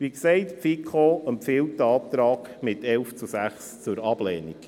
Wie gesagt, empfiehlt Ihnen die FiKo diesen Antrag mit 11 zu 6 Stimmen zur Ablehnung.